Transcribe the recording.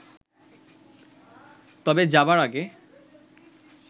তবে যাওয়ার আগে